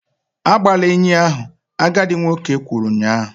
Agbala enyi ahụ! agadi nwoke kwuru ụnyahụ